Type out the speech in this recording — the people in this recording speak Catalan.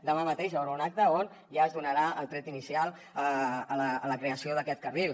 demà mateix hi haurà un acte on ja es donarà el tret inicial a la creació d’aquest carril